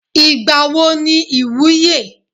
Ìgbà wo ni ìwúye?